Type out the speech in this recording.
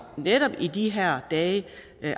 netop i de her dage